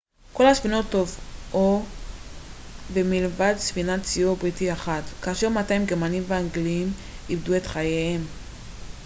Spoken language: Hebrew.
כל הספינות טובעו מלבד ספינת סיור בריטית אחת כמעט 200 גרמנים ואנגלים איבדו את חייהם